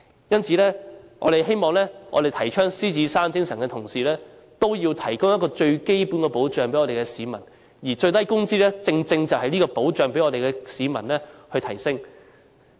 因此，我們希望提倡獅子山精神的同時，也要為市民提供最基本的保障，而最低工資正正就是這個保障，提升市民的基本保障。